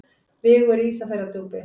Vigur í Ísafjarðardjúpi.